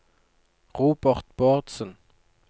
Robert Bårdsen